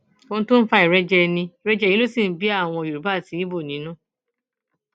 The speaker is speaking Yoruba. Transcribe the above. ohun tó ń fa ìrẹjẹ ní ìrẹjẹ yìí ló sì ń bí àwọn yorùbá àti ibo nínú